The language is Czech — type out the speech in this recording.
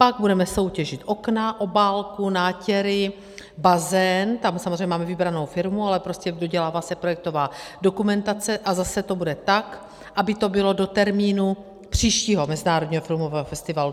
Pak budeme soutěžit okna, obálku, nátěry, bazén - tam samozřejmě máme vybranou firmu, ale prostě dodělává se projektová dokumentace, a zase to bude tak, aby to bylo do termínu příštího Mezinárodního filmového festivalu.